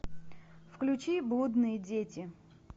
включи блудные дети